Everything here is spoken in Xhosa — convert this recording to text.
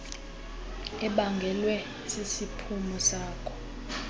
ebangelwe sisiphumo sako